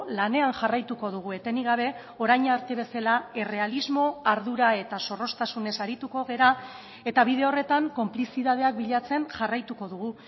lanean jarraituko dugu etenik gabe orain arte bezala errealismo ardura eta zorroztasunez arituko gara eta bide horretan konplizitateak bilatzen jarraituko dugu